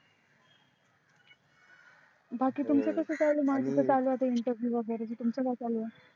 बाकी तुमच कस चालू आहे माझ आता चालू आहे interview वेगेरे तुमच काय चालू आहे